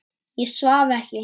Ég svaf ekki.